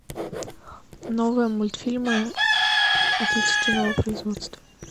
новые мультфильмы отечественного производства